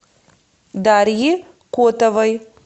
дарьи котовой